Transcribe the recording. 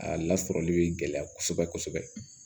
A lasɔrɔli bɛ gɛlɛya kosɛbɛ kosɛbɛ